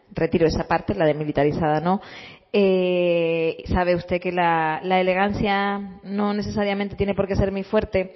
retiro esa parte la de militarizada no sabe usted que la elegancia no necesariamente tiene porqué ser mi fuerte